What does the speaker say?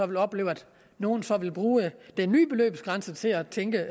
vil opleve at nogle så vil bruge den nye beløbsgrænse til at tænke